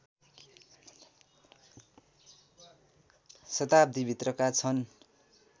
शताब्दीभित्रका छन्